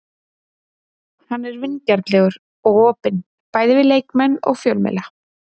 Hann er vingjarnlegur og opinn, bæði við leikmenn og fjölmiðla.